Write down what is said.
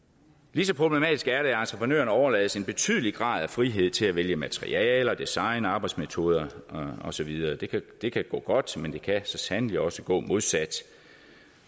lige så problematisk er det at entreprenøren overlades en betydelig grad af frihed til at vælge materialer design arbejdsmetoder og så videre det kan gå godt men det kan så sandelig også gå modsat